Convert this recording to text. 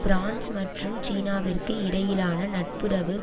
France மற்றும் சீனாவிற்கு இடையிலான நட்புறவு